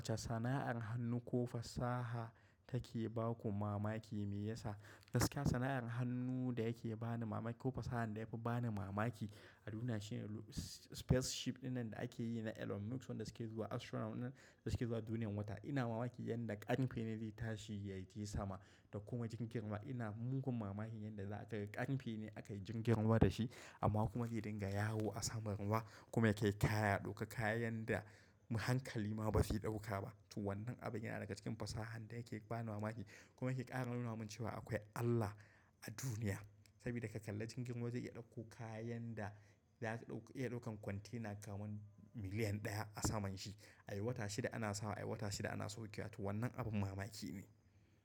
Sana'ar hannu ko fasaha take ba ku mamaki me yasa? Gaskiya sana'ar hannu da yake bani mamaki ko fasahan da yafi bani mamaki a duniya shine spaceship ɗinnan da ake yi na Elon Musk wanda suke zuwa astronaut ɗinnan da suke zuwa duniyar wata. Ina mamaki yanda ƙarfe ne zai tashi ya je sama da kuma jirgin ruwa. Ina mugun mamaki yadda za a ƙarfe ne aka yi jirgin ruwa da shi amma kuma yake dinga yawo a saman ruwa kuma yake taya ɗauka kayan da hankali ma ba zai ɗauka ba. To wannan abin yana daga cikin fasahan da yake bani mamaki kuma yake ƙara nuna min cewa akwai Allah a duniya. Saboda ka kalla jirgin ruwa zai iya ɗauko kayan da za su iya ɗaukan kwantena kaman miliyan ɗaya a saman shi. Ai wata shida ana sawa ai wata shida ana saukewa. To wannan abin mamaki ne.